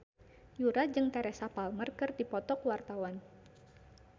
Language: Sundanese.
Yura jeung Teresa Palmer keur dipoto ku wartawan